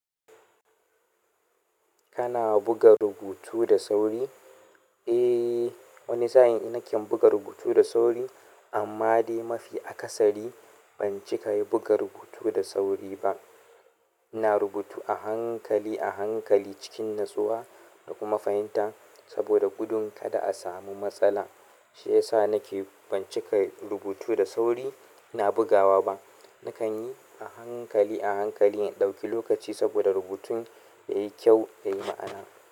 Kana buga rubutu da sauri? Eh, wani sa'in e naken buga rubutu da sauri, amma dai mafi akasari ban cika yi buga rubutu da sauri ba. Ina rubutu a hankali a hankali cikin natsuwa da kuma fahimta saboda gudun kada a samu matsala. Shiyasa nake ban cika rubutu da sauri ina bugawa ba. Nakan yi a hankali a hankali, in ɗauki lokaci saboda rubutun yayi kyau, yayi ma'ana.